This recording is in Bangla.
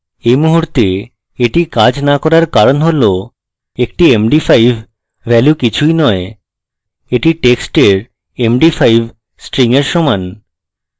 এই মুহূর্তে এটির কাজ the করার কারণ হল একটি md5 value কিছুই নয় the টেক্সটের md5 string এর সমান